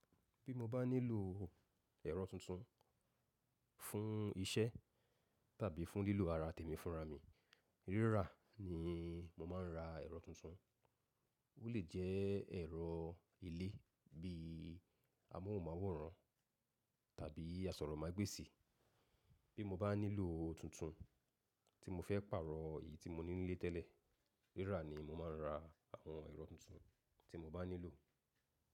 Bí mo bá nílò ẹ̀rọ tuntun fún iṣẹ́ tàbí fún lílo ara tèmi fúnra mi, rírà ni mo máa ń ra ẹ̀rọ tuntun, ó lè jẹ́ ẹ̀rọ ilé bí i amóhùnmáwòrán tàbí asọ̀rọ̀mágbèsì. Bí mo bá nílò tuntun tí mo fẹ́ pàrọ̀ èyí tí mo n nílé tẹ́lẹ̀, rírà ni mo máa ń ra àwọn ẹ̀rọ tuntun tí mo bá nílò.